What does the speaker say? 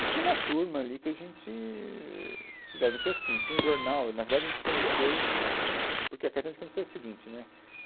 E tinha uma turma ali que a gente se dava, então assim, tinha um jornal, na verdade a gente se conheceu porque a era a seguinte, né?